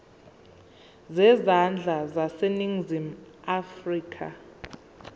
zezandla zaseningizimu afrika